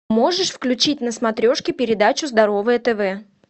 можешь включить на смотрешке передачу здоровое тв